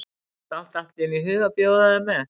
Okkur datt allt í einu í hug að bjóða þér með.